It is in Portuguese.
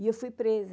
E eu fui presa.